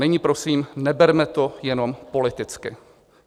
Nyní prosím, neberme to jenom politicky.